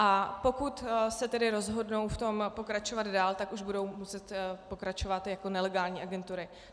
A pokud se tedy rozhodnou v tom pokračovat dál, tak už budou muset pokračovat jako nelegální agentury.